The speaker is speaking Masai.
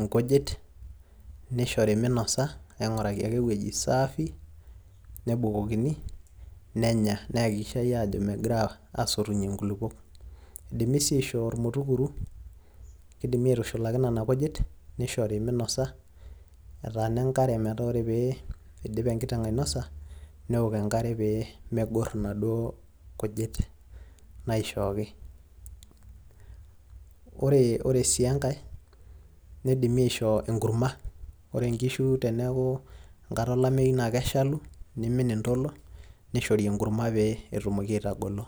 inkujit, nishori minosa, aing'uraki ake ewueji saafi, nebukokini, nenya. Niakikishai ajo megira asotunye nkulukuok. Idimi si aishoo ormutukuru, kidimi aitushulaki nena kujit, nishori minosa etaana enkare metaa ore pee idip enkiteng' ainosa, neok enkare pee megor inaduo kujit naishooki. Ore si enkae, nidimi aishoo enkurma. Ore nkishu teneeku enkata olameyu, na keshalu, nimin intolo, nishori enkurma pe etumoki aitagolo.